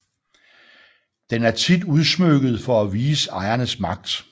Den er tit udsmykket for at vise ejerens magt